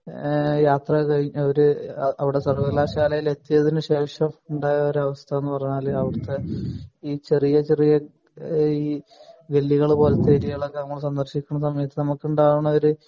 ആഹ് യാത്ര കഴിഞ്ഞ് അഹ് ഒരു അവിടെ സർവ്വകലാശായിൽ എത്തിയതിന് ശേഷം ഉണ്ടായ ഒരു അവസ്ഥന്ന് പറഞ്ഞാൽ അവിടുത്തെ ഈ ചെറിയ ചെറിയ ആഹ് ഈ ഗല്ലികൾ പോലത്തെ ഏരിയകൾ ഒക്കെ നമ്മൾ സന്ദർശിക്കുന്ന സമയത്ത് നമുക്ക് ഉണ്ടാവുന്ന